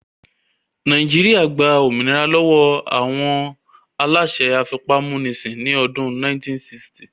Nàìjíríyà gba òmìnira lọ́wọ́ àwọn aláṣẹ afipámúnisìn ní ọdún 1960